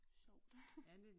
Sjovt